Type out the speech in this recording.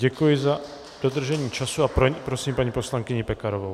Děkuji za dodržení času a prosím paní poslankyni Pekarovou.